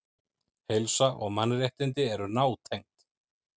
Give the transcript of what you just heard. Heilsa og mannréttindi eru nátengd.